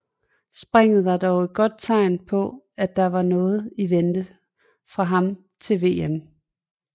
Springet var dog et godt tegn på at der var noget i vente fra ham til VM